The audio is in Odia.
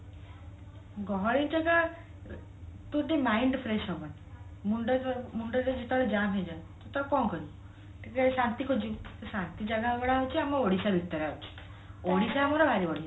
ଗହଳି ଜାଗା mind fresh ହବନି ମୁଣ୍ଡ ମୁଣ୍ଡରେ ଯେତେବେଳେ ଜାମ ହେଇଯାଏ ତ କଣ କରିବୁ ଟିକେ ଶାନ୍ତି ଖୋଜିବୁ ଶାନ୍ତି ଜାଗା ଗୋଡା ହଉଛି ଆମ ଓଡିଶା ଭିତରେ ଅଛି ଓଡିଶା ଆମର ଭାରି ବଢିଆ